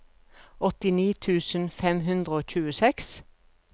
åttini tusen fem hundre og tjueseks